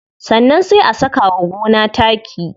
Sannan sai a saka wa gona taki.